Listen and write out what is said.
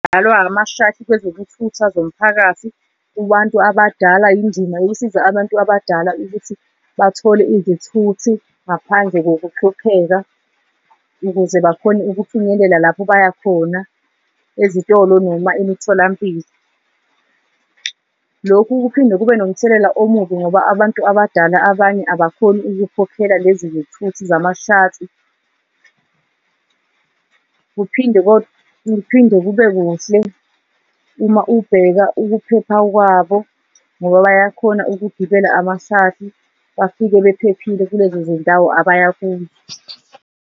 Ama-shuttle kwezokuthutha zomphakathi kubantu abadala, indima yokusiza abantu abadala ukuthi bathole izithuthi ngaphandle kokuhlupheka, ukuze bakhone ukufinyelela lapho bayakhona ezitolo noma imitholampilo. Lokhu kuphinde kube nomthelela omubi ngoba abantu abadala abanye abakhoni ukukhokhela lezi zithuthi zama-shuttle, kuphinde kuphinde kube kuhle uma ubheka ukuphepha kwabo ngoba bayakhona ukugibela ama-shuttle bafike bephephile kulezo zindawo abaya kuzo.